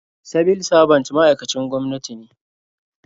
Sibil sabant ma'aikacin gwamnati ne.